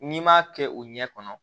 N'i m'a kɛ o ɲɛ kɔnɔ